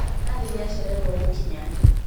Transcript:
Nathi nĩacererwo gũkinya